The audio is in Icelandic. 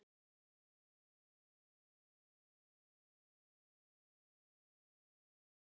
Dætur Hreggviðs og Grétu voru oftast lasnar, að minnsta kosti voða guggnar og hóstandi.